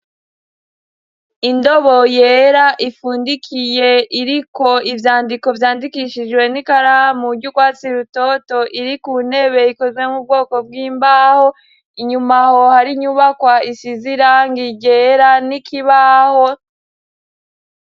Indobo yera ifundikiye iriko ivyandiko vyandikishijwe n'ikaramu ry'urwatsi rutoto iri ku ntebe ikozwe mu bwoko bw'imbaho inyuma aho hari inyubakwa isize irangi ryera n'ikibaho.